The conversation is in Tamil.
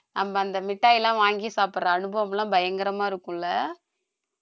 நம்ம அந்த மிட்டாய் எல்லாம் வாங்கி சாப்பிடுற அனுபவம்லாம், பயங்கரமா இருக்கும் இல்ல